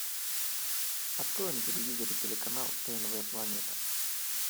открой на телевизоре телеканал тнв планета